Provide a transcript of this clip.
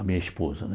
A minha esposa, né?